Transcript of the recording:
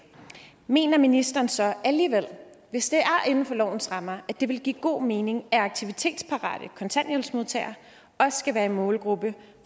mener ministeren så alligevel at hvis det er inden for lovens rammer at det ville give god mening at aktivitetsparate kontanthjælpsmodtagere også skal være en målgruppe